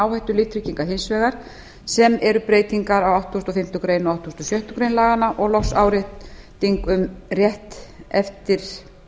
áhættulíftrygginga hins vegar sem eru breytingar á áttugasta og fimmtu greinar og áttugustu og sjöttu grein laganna og loks árétting um rétt eftir